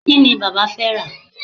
kíni bàbá fé rà